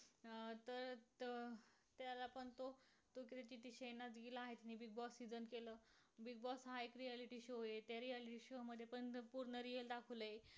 साताऱ्याहून एक्शेऐशी किलोमीटर पुणे एकशेत्र्यांणणंव किलोमीटर व मुंबई तीनशेपंचेचलीस किलोमीटर अंतरावर कोयना अभयारण्य आहे. याची स्थापना एकोणीशेपांच्याशी रोजी झालेली आहे.